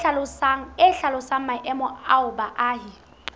e hlalosang maemo ao baahi